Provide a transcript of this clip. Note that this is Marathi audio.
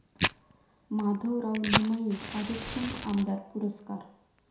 माधवराव लिमये कार्यक्षम आमदार पुरस्कार